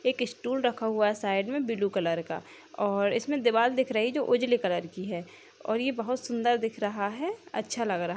एक स्टूल रखा हुआ है साइड में ब्लू कलर का और इसमें दीवार दिख रही है जो उजले कलर की है और ये बहुत सुंदर दिख रहा है अच्छा लग रहा --